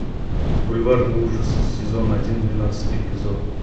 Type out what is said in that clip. бульварный ужас сезон один двенадцатый эпизод